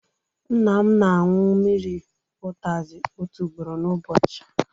Nna m na anwụ mmiri utazi otu ugboro n'ụbọchị